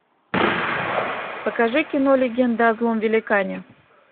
покажи кино легенда о злом великане